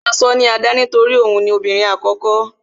Wọn máa sọ ní Ada torí òun ni obìnrin àkókó